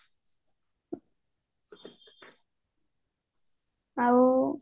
ଆଉ